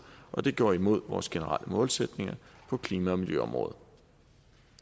og det går imod vores generelle målsætninger på klima og miljøområdet